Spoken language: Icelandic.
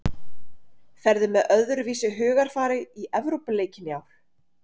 Ferðu með öðruvísi hugarfari í Evrópuleikina í ár?